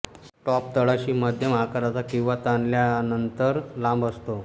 top तळाशी मध्यम आकाराचा किंवा ताणवल्यानंतर लांब असतो